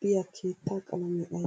diya keettaa qalamee ayibee?